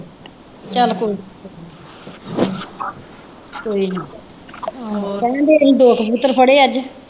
ਚੱਲ ਕੋਈ ਨਹੀਂ ਕਹਿੰਦੇ ਇਹਨੇ ਦੋ ਕਬੂਤਰ ਫੜੇ ਅੱਜ।